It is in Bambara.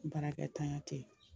Baarakɛtanya tɛ yen.